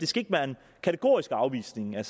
skal være en kategorisk afvisning lad